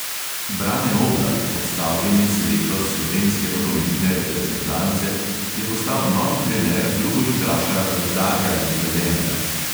Brane oblak, odstavljeni selektor slovenske nogometne reprezentance, je postal novi trener drugoligaša rudarja iz velenja.